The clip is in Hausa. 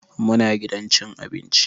Muna gidan cin abinci.